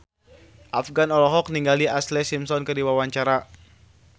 Afgan olohok ningali Ashlee Simpson keur diwawancara